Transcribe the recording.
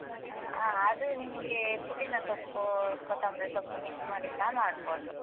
ಅ ಆ ಅದೂ ನಿಮ್ಗೆ ಪುದಿನ ಸೊಪ್ಪು , ಕೊತ್ತೊಂಬ್ರಿ ಸೊಪ್ಪು mix ಮಾಡಿ ಸ ಮಾಡ್ಬೋದು.